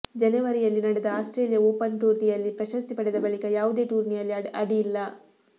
ಜನೆವರಿಯಲ್ಲಿ ನಡೆದ Australia Open ಟೂರ್ನಿಯಲ್ಲಿ ಪ್ರಶಸ್ತಿ ಪಡೆದ ಬಳಿಕ ಯಾವುದೇ ಟೂರ್ನಿಯಲ್ಲಿ ಆಡಿಲ್ಲ